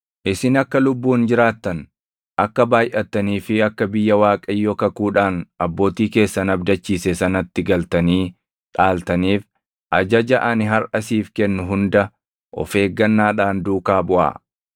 Isin akka lubbuun jiraattan, akka baayʼattanii fi akka biyya Waaqayyo kakuudhaan abbootii keessan abdachiise sanatti galtanii dhaaltaniif ajaja ani harʼa siif kennu hunda of eeggannaadhaan duukaa buʼaa.